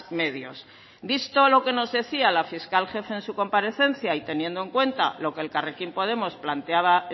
medios visto lo que nos decía la fiscal jefe en su comparecencia y teniendo en cuenta lo que elkarrekin podemos planteaba